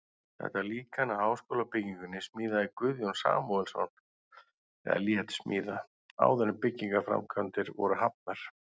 Þetta líkan af háskólabyggingunni smíðaði Guðjón Samúelsson eða lét smíða, áður en byggingarframkvæmdir voru hafnar.